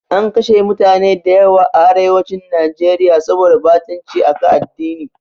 An kashe mutane da yawa a arewacin Najeriya saboda ɓatanci a kan addini.